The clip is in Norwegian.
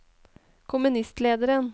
kommunistlederen